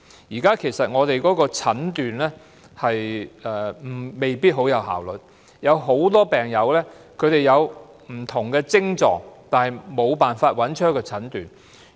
香港現時的診斷未必很有效率，很多病友有不同的癥狀，但無法得到診斷。